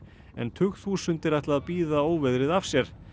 en tugþúsundir ætla að bíða óveðrið af sér